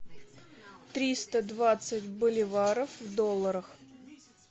триста двадцать боливаров в долларах